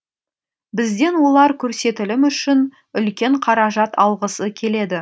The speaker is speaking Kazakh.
бізден олар көрсетілім үшін үлкен қаражат алғысы келеді